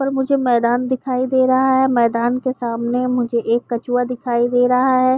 पर मुझे मैदान दिखाई दे रहा है। मैदान के सामने मुझे एक कछुआ दिखाई दे रहा है।